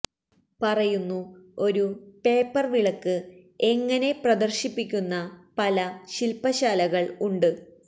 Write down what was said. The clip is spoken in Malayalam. പറയുന്നു ഒരു പേപ്പർ വിളക്ക് എങ്ങനെ പ്രദർശിപ്പിക്കുന്ന പല ശില്പശാലകൾ ഉണ്ട്